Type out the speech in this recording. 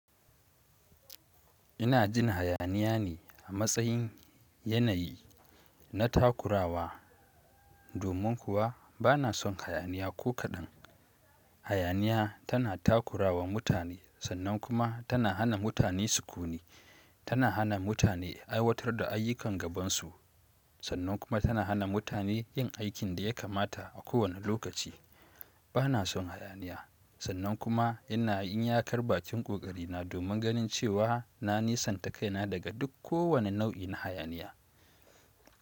Ina jin hayaniya ne a matsayin yanayi na takurawa domin kuwa bana son hayaniya ko kaɗan. Hayaniya tana takurawa mutane sannan kuma tana hana mutane su kuni. Tana hana mutane aiwatar da ayyukan gabansu sannan kuma tana hana mutane yin aikin da ya kamata a kowane lokaci. Bana son hayaniya sannan kuma ina yin yakar bakin ƙoƙari na domin ganin cewa na nisanta kaina daga duk kowane nau'in hayaniya.